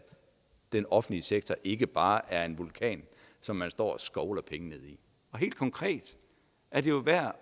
den offentlige sektor altså ikke bare er en vulkan som man står og skovler penge ned i helt konkret er det jo værd